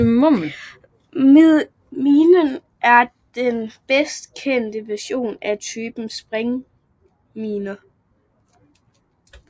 Minen er den bedst kendte version af typen springminer